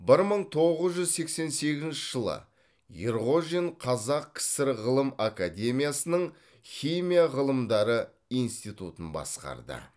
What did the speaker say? бір мың тоғыз жүз сексен сегізінші жылы ерғожин қазақ кср ғылым академиясының химия ғылымдары институтын басқарды